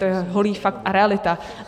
To je holý fakt a realita.